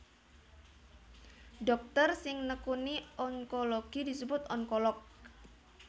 Dhokter sing nekuni onkologi disebut onkolog